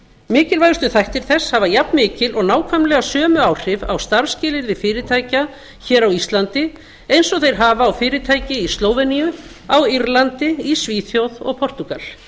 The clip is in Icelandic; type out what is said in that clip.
mikilvægustu þættir þess hafa jafn mikil og nákvæmlega sömu áhrif á starfsskilyrði fyrirtækja á íslandi eins og þeir hafa á fyrirtæki í slóveníu á írlandi í svíþjóð og portúgal